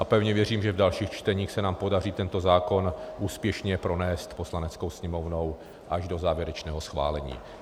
A pevně věřím, že v dalších čteních se nám podaří tento zákon úspěšně pronést Poslaneckou sněmovnou až do závěrečného schválení.